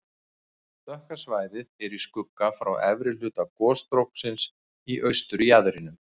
Dökka svæðið er í skugga frá efri hluta gosstróksins í austurjaðrinum.